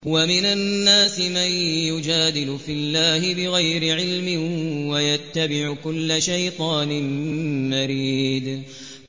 وَمِنَ النَّاسِ مَن يُجَادِلُ فِي اللَّهِ بِغَيْرِ عِلْمٍ وَيَتَّبِعُ كُلَّ شَيْطَانٍ مَّرِيدٍ